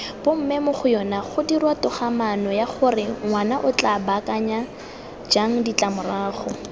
b mmemogoyonagodirwatogamaanoyagorengwanaotla baakanya jang ditlamorago